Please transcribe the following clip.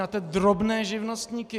Na ty drobné živnostníky.